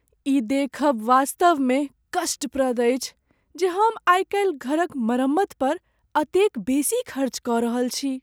ई देखब वास्तवमे कष्टप्रद अछि जे हम आइकाल्हि घरक मरम्मत पर एतेक बेसी खर्च कऽ रहल छी।